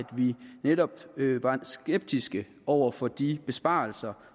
vi netop var skeptiske over for de besparelser